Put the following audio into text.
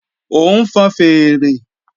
Ó ń fọn fèèrè